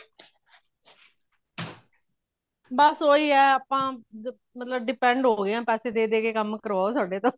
ਬਸ ਉਹੀ ਹੈ ਆਪਾਂ ਮਤਲਬ depend ਹੋ ਗਏ ਹਾਂ ਪੈਸੇ ਦੇ ਦੇ ਕੇ ਕੰਮ ਕਰਵਾਓ ਸਾਡੇ ਤੋਂ